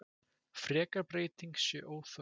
Frekar breyting sé óþörf.